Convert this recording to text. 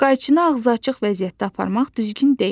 Qayçını ağzı açıq vəziyyətdə aparmaq düzgün deyil.